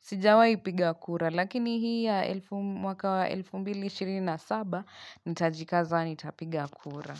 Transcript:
Sijawai piga kura, lakini hii ya mwaka wa 2027, nitajikaza nitapiga kura.